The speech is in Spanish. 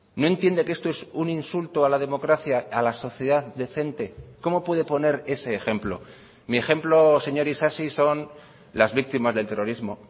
no entiende que esto es un insulto a la democracia a la sociedad decente cómo puede poner ese ejemplo mi ejemplo señor isasi son las víctimas del terrorismo